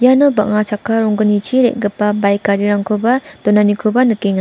bang·a chakka ronggnichi re·gipa baik garirangkoba donanikoba nikenga.